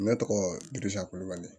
Ne tɔgɔ dua ko kulubali